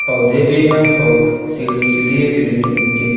पौधे भी हैं पौ सीढ़ी सीढ़ी है सीढ़ी के नीचे--